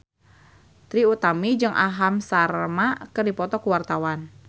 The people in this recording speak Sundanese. Trie Utami jeung Aham Sharma keur dipoto ku wartawan